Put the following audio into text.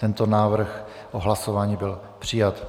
Tento návrh o hlasování byl přijat.